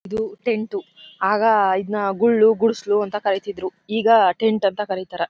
ಇದು ಟೆಂಟ್ ಆಗ ಇದನ್ನ ಗುಳ್ಳು ಗುಡಿಸಿಲು ಅಂತ ಕರೀತಿದ್ರು ಈಗ ಟೆಂಟ್ ಅಂತ ಕರೀತಾರ.